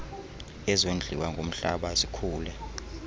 ezondliwa ngumhlaba zikhule